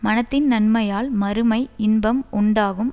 மனத்தின் நன்மையால் மறுமை இன்பம் உண்டாகும்